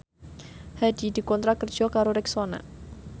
Hadi dikontrak kerja karo Rexona